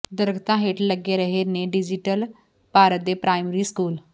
ਦਰੱਖਤਾਂ ਹੇਠ ਲੱਗ ਰਹੇ ਨੇ ਡਿਜੀਟਲ ਭਾਰਤ ਦੇ ਪ੍ਰਾਇਮਰੀ ਸਕੂਲ